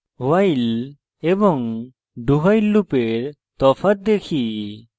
while এবং dowhile লুপের প্রকৃত তফাৎ দেখি